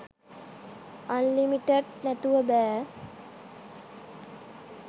unlimited නැතුව බෑ